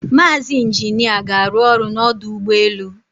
Mazi Injina ga aru olu n' Odu Ugbe elu